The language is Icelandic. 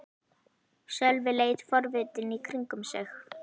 Sölvi leit forvitinn í kringum sig.